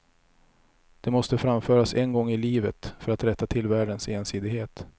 Det måste framföras en gång i livet, för att rätta till världens ensidighet.